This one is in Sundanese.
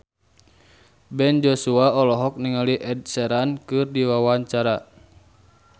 Ben Joshua olohok ningali Ed Sheeran keur diwawancara